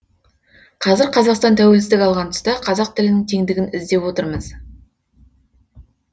қазір қазақстан тәуелсіздік алған тұста қазақ тілінің теңдігін іздеп отырмыз